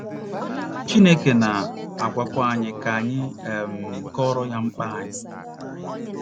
Chineke na - agwakwa anyị ka anyị um kọọrọ ya mkpa anyị.